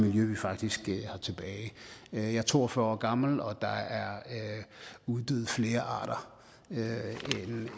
miljø vi faktisk har tilbage jeg er to og fyrre år gammel og der er uddøet flere arter